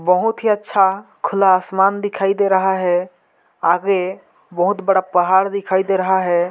बहुत ही अच्छा खुला आसमान दिखाई दे रहा है आगे बहुत बड़ा पहाड़ दिखाई दे रहा है।